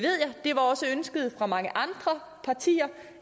var også ønsket fra mange andre partier